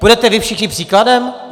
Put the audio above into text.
Půjdete vy všichni příkladem?